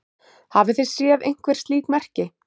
Hafið þið séð einhver slík merki?